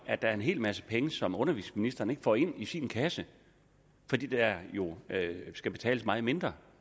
at der er en hel masse penge som undervisningsministeren ikke får ind i sin kasse fordi der jo skal betales meget mindre